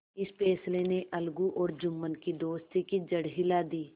इस फैसले ने अलगू और जुम्मन की दोस्ती की जड़ हिला दी